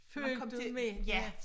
Følte med ja